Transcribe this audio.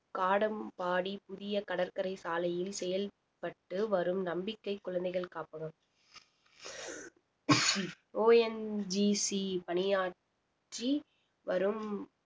காடம்பாடி புதிய கடற்கரை சாலையில் செயல்ப்பட்டு வரும் நம்பிக்கை குழந்தைகள் காப்பகம் ONGC பணியாற்றி வரும்